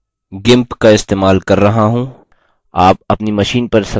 आप अपनी machine पर संस्थापित कोई भी सम्पादक इस्तेमाल कर सकते हैं